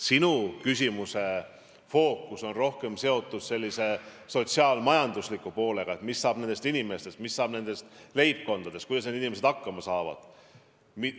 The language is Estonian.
Sinu küsimuse fookuses on rohkem sotsiaal-majanduslik mõju: mis saab nendest inimestest, mis saab nendest leibkondadest, kuidas need inimesed hakkama saavad.